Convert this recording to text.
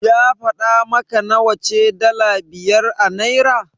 Ya faɗa maka nawa ce dala biyar a Naira?